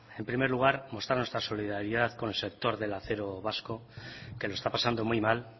en primer lugar mostrar nuestra solidaridad con el sector del acero vasco que lo está pasando muy mal